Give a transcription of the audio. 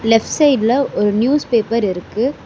Left சைடுல ஒரு news paper இருக்கு.